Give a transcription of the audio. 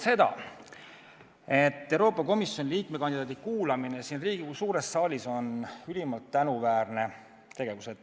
Esmalt märgin, et Euroopa Komisjoni liikme kandidaadi kuulamine siin Riigikogu suures saalis on ülimalt tänuväärne tegevus.